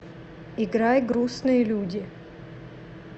играй грустные люди